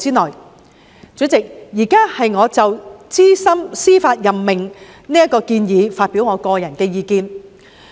代理主席，我現在就資深司法任命建議發表個人意見。